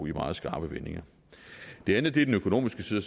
meget skarpe vendinger det andet er den økonomiske side